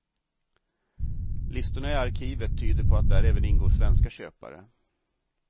Listorna i arkivet tyder på att där även ingår svenska köpare.